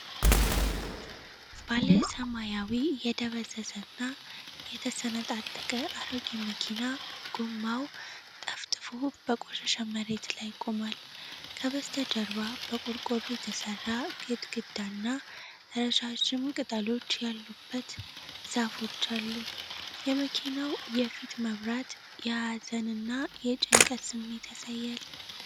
ባለ ሰማያዊ የደበዘዘ እና የተሰነጣጠቀ አሮጌ መኪና ጎማው ጠፍጥፎ በቆሸሸ መሬት ላይ ቆሟል። ከበስተጀርባ በቆርቆሮ የተሠራ ግድግዳና ረዣዥም ቅጠሎች ያሉበት ዛፎች አሉ። የመኪናው የፊት መብራት የሀዘን እና የጭንቀት ስሜት ያሳያል።